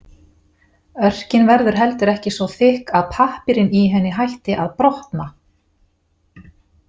Örkin verður ekki heldur svo þykk að pappírinn í henni hætti að „brotna“.